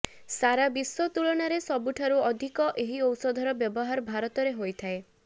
ସାରା ବିଶ୍ବ ତୁଳନାରେ ସବୁଠାରୁ ଅଧିକ ଏହି ଔଷଧର ବ୍ୟବହାର ଭାରତରେ ହୋଇଥାଏ